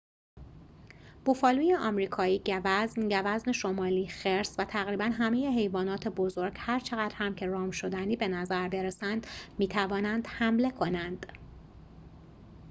بوفالوی آمریکایی گوزن گوزن شمالی خرس و تقریباً همه حیوانات بزرگ هرچقدر هم که رام‌شدنی بنظر برسند می‌توانند حمله کنند